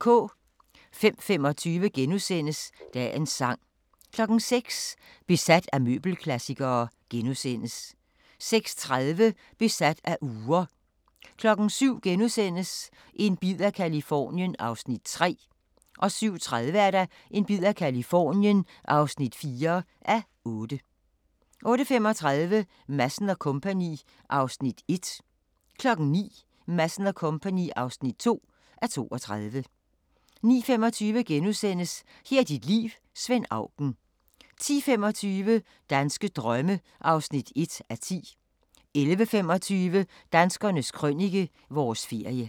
05:25: Dagens sang * 06:00: Besat af møbelklassikere * 06:30: Besat af ure 07:00: En bid af Californien (3:8)* 07:30: En bid af Californien (4:8) 08:35: Madsen & Co. (1:32) 09:00: Madsen & Co. (2:32) 09:25: Her er dit liv – Svend Auken * 10:25: Danske drømme (1:10) 11:25: Danskernes Krønike - vores ferie